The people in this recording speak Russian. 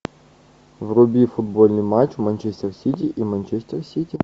вруби футбольный матч манчестер сити и манчестер сити